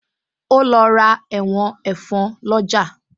O lọ ra ẹ̀wọ̀n ẹ̀fọn lọ́jà